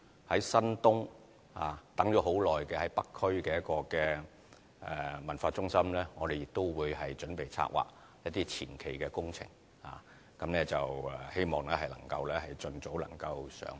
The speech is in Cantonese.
於新東，等待已久在北區的文化中心，我們亦準備策劃前期工程，希望盡早能夠上馬。